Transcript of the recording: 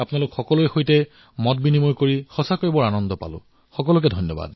আৰু আপোনালোকৰ সৈতে কথা পাতি মোৰ খুব ভাল লাগিল আপোনালোক সকলোলৈ অশেষ অভিনন্দন জনাইছো